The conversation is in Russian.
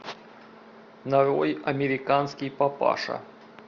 нарой американский папаша